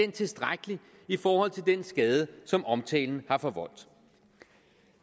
tilstrækkelig i forhold til den skade som omtalen har forvoldt